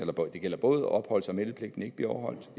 gælder både opholds og meldepligten ikke bliver overholdt